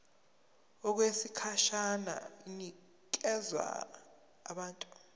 okwesikhashana inikezwa abantu